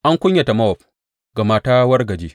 An kunyata Mowab, gama ta wargaje.